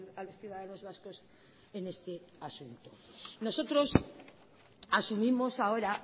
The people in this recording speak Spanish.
a los ciudadanos vascos en este asunto nosotros asumimos ahora